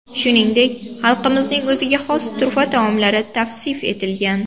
Shuningdek, xalqimizning o‘ziga xos turfa taomlari tavsif etilgan.